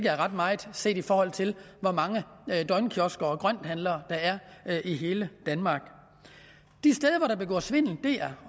er ret meget set i forhold til hvor mange døgnkiosker og grønthandlere der er i hele danmark de steder hvor der begås svindel er